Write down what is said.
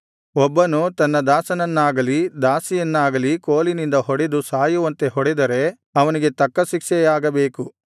ಒಬ್ಬನು ತನ್ನ ದಾಸನನ್ನಾಗಲಿ ದಾಸಿಯನ್ನಾಗಲಿ ಕೋಲಿನಿಂದ ಹೊಡೆದು ಸಾಯುವಂತೆ ಹೊಡೆದರೆ ಅವನಿಗೆ ತಕ್ಕ ಶಿಕ್ಷೆಯಾಗಬೇಕು